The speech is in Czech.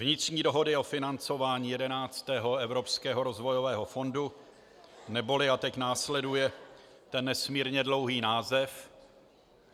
Vnitřní dohody o financování 11. Evropského rozvojového fondu neboli - a teď následuje ten nesmírně dlouhý název.